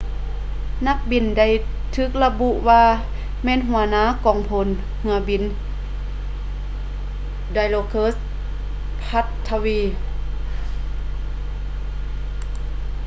ນັກບິນໄດ້ຖືກລະບຸວ່າແມ່ນຫົວໜ້າກອງພົນເຮືອບິນ dilokrit pattavee